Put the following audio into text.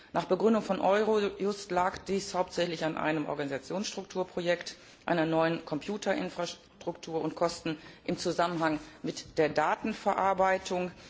Nach Begründung von Eurojust lag dies hauptsächlich an einem Organisationsstrukturprojekt einer neuen Computerinfrastruktur und Kosten im Zusammenhang mit der Datenverarbeitung.